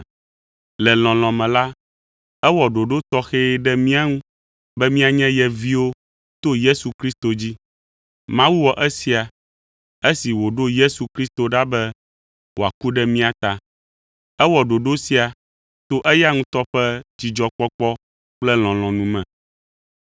Le lɔlɔ̃ me la, ewɔ ɖoɖo tɔxɛ ɖe mía ŋu be míanye ye viwo to Yesu Kristo dzi. Mawu wɔ esia, esi wòɖo Yesu Kristo ɖa be wòaku ɖe mía ta. Ewɔ ɖoɖo sia to eya ŋutɔ ƒe dzidzɔkpɔkpɔ kple lɔlɔ̃nu me!